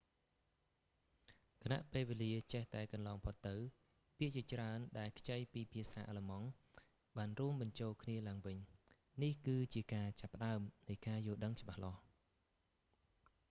ខណៈពេលវេលាចេះតែកន្លងផុតទៅ ពាក្យជាច្រើនដែលខ្ចីពីភាសាអាឡឺម៉ង់បានរួមបញ្ចូលគ្នាឡើងវិញ នេះ គឺជាការចាប់ផ្តើមនៃការយល់ដឹងច្បាស់លាស់